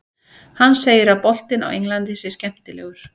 Hann segir að boltinn á Englandi sé skemmtilegur.